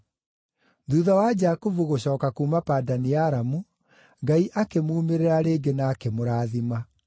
Thuutha wa Jakubu gũcooka kuuma Padani-Aramu, Ngai akĩmuumĩrĩra rĩngĩ na akĩmũrathima.